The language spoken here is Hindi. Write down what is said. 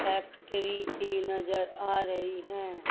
फैक्टरी सी नजर आ रही हैं।